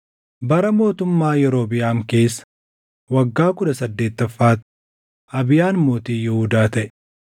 Bara mootummaa Yerobiʼaam keessa waggaa kudha saddeettaffaatti Abiyaan mootii Yihuudaa taʼe;